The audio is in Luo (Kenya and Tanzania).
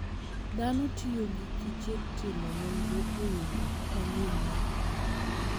Dhano tiyo gi kiche timo nonro e yore manyien mag pur.